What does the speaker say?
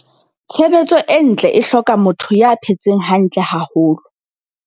Tshebetso e ntle e hloka motho ya phetseng hantle haholo.